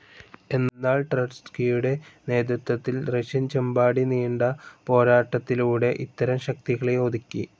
എന്നാൽ ട്രഡ്സ്കിയുടെ നേതൃത്വത്തിൽ റഷ്യൻ ചെമ്പാടി നീണ്ട പോരാട്ടത്തിലൂടെ ഇത്തരം ശക്തികളെ ഒതുക്കി.